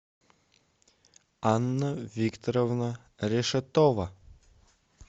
анна викторовна решетова